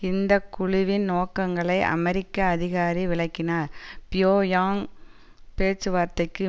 இந்த குழுவின் நோக்கங்களை அமெரிக்க அதிகாரி விளக்கினார் பியோங்யாங் பேச்சுவார்த்தைக்கு